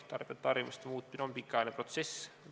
Tarbijate harjumuste muutmine on pikaajaline protsess.